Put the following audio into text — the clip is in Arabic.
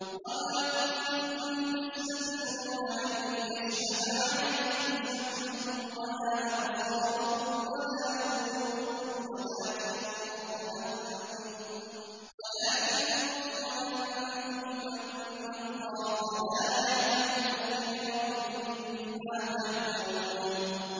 وَمَا كُنتُمْ تَسْتَتِرُونَ أَن يَشْهَدَ عَلَيْكُمْ سَمْعُكُمْ وَلَا أَبْصَارُكُمْ وَلَا جُلُودُكُمْ وَلَٰكِن ظَنَنتُمْ أَنَّ اللَّهَ لَا يَعْلَمُ كَثِيرًا مِّمَّا تَعْمَلُونَ